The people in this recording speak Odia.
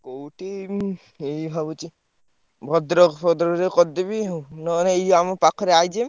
କୋଉଠି ଉଁ ଏଇ ଭାବୁଚି ଭଦ୍ରକ ଫଦ୍ରକରେ କରିଦେବି ନହେଲେ ଏଇ ଯୋଉ ଆମ ପାଖରେ IJM ।